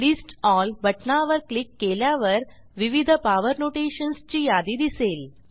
list L बटना वर click केल्यावर विविध पॉवर नोटेशन्स ची यादी दिसेल